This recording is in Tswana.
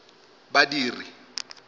badiri